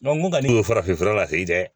n kun kan n'o ye farafinfura ta i tɛ